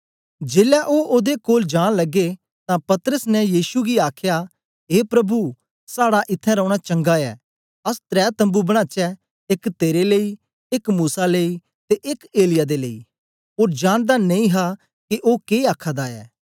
जेलै ओ ओदे कोल जान लगे तां पतरस ने यीशु गी आखया ए प्रभु साड़ा इत्थैं रौना चंगा ऐ अस त्रै तम्बू बनाचै एक तेरे लेई एक मूसा लेई ते एक एलिय्याह दे लेई ओ जानदा नेई हा के ओ के आखादा ऐ